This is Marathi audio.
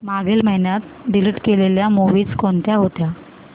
मागील महिन्यात डिलीट केलेल्या मूवीझ कोणत्या होत्या